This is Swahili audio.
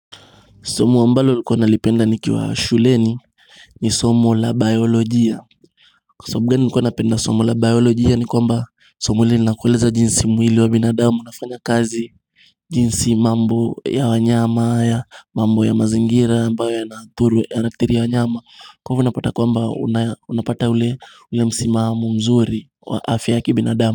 Somo ambalo nilikuwa nalipenda nikiwa shuleni ni somo la biolojia Kwa sababu gani nilikuwa napenda somo la biolojia ni kwamba somo hili linakueleza jinsi mwili wa binadamu unafanya kazi jinsi mambo ya wanyama mambo ya mazingira ambayo yanathuru wanyama Kwa hivyo unapata kwamba unapata ule msimamo mzuri wa afya kibinadamu.